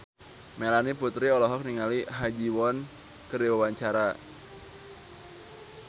Melanie Putri olohok ningali Ha Ji Won keur diwawancara